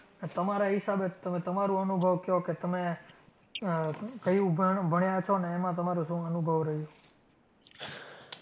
તમરા હિસાબે તમરુ અનુભવ કયો કે તમે કયુ ભણયા છો એમા તમરો શુ અનુભવ રહ્યો.